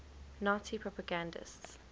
nazi propagandists